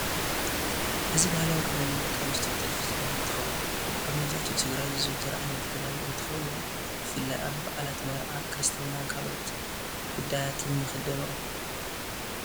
እዚ ብሃላዊ ክዳን ደቂ አንስትዮ ጥልፊ ዝበሃል እንትኸውን አብ መብዘሐትኡ ትግራይ ዝዝውተር ዓይነት ክዳን እንትኸውን ብፍላይ አብ በዓላት፣ መርዓ፣ ክርስትናን ካልኦት ጉዳያትን ይኽደንኦ።